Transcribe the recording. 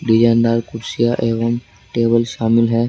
कुर्सियां एवं टेबल शामिल है।